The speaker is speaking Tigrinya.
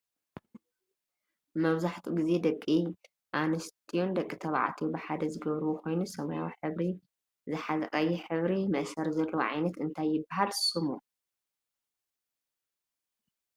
መብዛሕቲኡ ግዜ ደቂ ኣንስትዮን ደቂ ተባዕትዮ ብሓደ ዝገብርዎ ኮይኑ ሰማያዊ ሕብሪ ዝሓዘቀይሕ ሕብሪ መእሰሪ ዘለዎ ዓይነት እንታይ ይብሃል ሽሙ ?